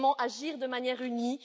Comment agir de manière unie?